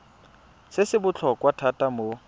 se se botlhokwa thata mo